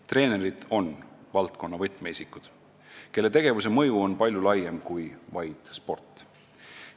Treenerid on valdkonna võtmeisikud, kelle tegevuse mõju on palju laiem kui vaid sport.